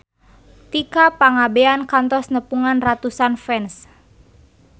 Tika Pangabean kantos nepungan ratusan fans